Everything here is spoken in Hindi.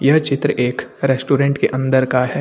यह चित्र एक रेस्टोरेंट के अंदर का है।